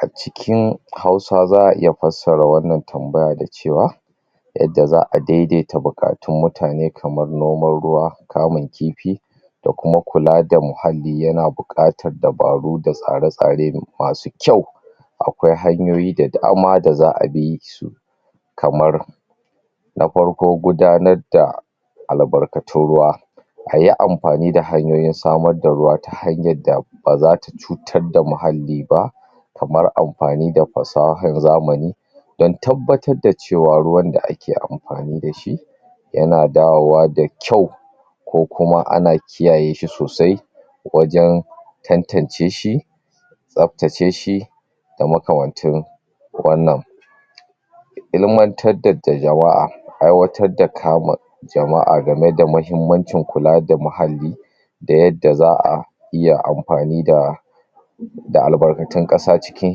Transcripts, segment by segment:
A cikin Hausawa za'a iya fasara wannan tambaya da cewa yadda za'a daidai ta buƙatun mutane kamar noman ruwa, kamun kifi da kuma ƙula da muhalli yana buƙatar dubaru da tsare-tsare da[um] masu kyau akwai hanyoyi da dama da za'a bi kamar na farko gudanar da albakatun ruwa ayi amfani da hanyoyin samar da ruwa ta hanyar ba zata cutar da muhalli ba kamar amfani da fasahar zamani dan tabbatar da cewa ruwan da ake amfani dashi yana dawowa da kyau ko kuma ana kiyaye shi sosai wajan tantance shi tsaftace shi da makamanci sa wannan ilimantar tar da jama'a aikawatar da kama jama'a game da mahimmancin kula muhalli da yadda za'a iya amfani da da albarkatun ƙasa cikin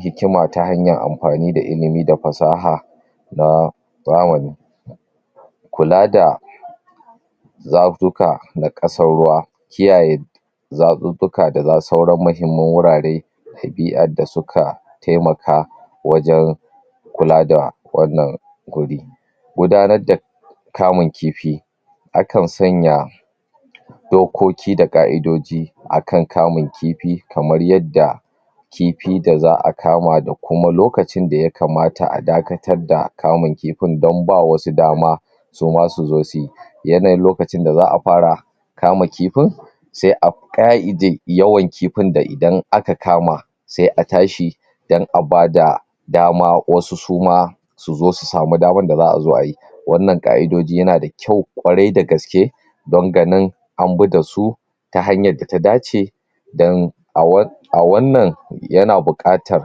hikima ta hanyar amfani da ilimi da fasaha na zamani kula da zafuka na ƙasar ruwa kiyaye zafuffuka da suran mahimman wurare ɗabi'ar da suka taimaka wajan kula da wannan wuri gudananr daa kamun kifi akan sanya dokoki da ƙa'idoji akan kamun kifi kamar yadda kifi da za'a kama da kuma lokacin da yakamata a dakatar da kifin dan bawa wasu dama suma su zo suyi yanayin lokacin da za'a fara kama kifin sai a ƙa'ide yawan kifin da idan aka kama sai a tashi dan a bada dama wasu suma so zo su samu damar da za'a zo ayi wannan ƙa'idoji yana da kyau kwarai da gaske dan ganin an bi dasu ta hanyar da ya dace don a wan[um] a wannan yana buƙatar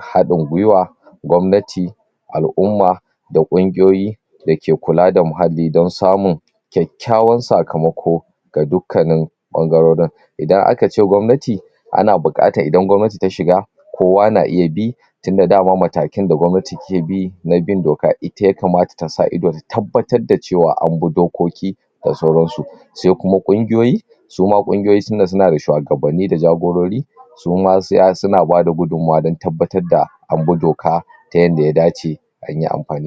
haɗin gwiwa gwamnati Al'umma da kungiyoyi dake kula da muhalli dan samun kyakykyawan sakamako ga dukkan nin ɓangarorin idan aka ce gwamnati ana buƙatar idan gwamnati ta shiga kowa na iya bi tunda dama matakin da gwamnati ke bi na bin doka, ita yamakata tasa ido ta tabbatar da cewa an bi dokoki da sauransu sai kuma ƙungiyoyi soma ƙungiyoyi suna suna da shuwagabanni da jagorori suma saya suna bada gudanmawa dan tabbatar da an bi doka ta yadda ya dace anyi amfani ba